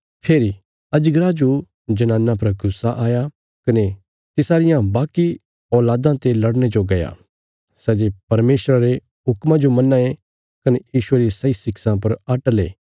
फेरी अजगरा जो जनाना पर गुस्सा आया कने तिसारियां बाकी औल़ादां ते लड़ने जो गया सै जे परमेशर रे हुक्मा जो मन्नां ये कने यीशुये री सही शिक्षां पर अटल ये